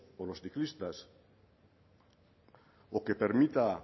o los ciclistas o que permita